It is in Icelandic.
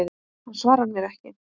Hann svarar mér ekki.